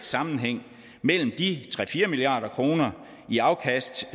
sammenhæng mellem de tre fire milliard kroner i afkast